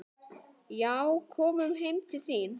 Já, komum heim til þín.